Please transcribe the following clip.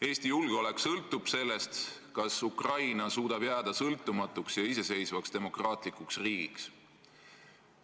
Eesti julgeolek sõltub sellest, kas Ukraina suudab jääda sõltumatuks ja iseseisvaks demokraatlikuks riigiks.